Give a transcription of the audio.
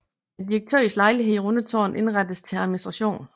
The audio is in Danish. Direktørens lejlighed i Rundetårn indrettes til administration